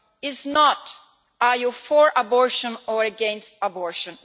is not whether you are for abortion or against abortion.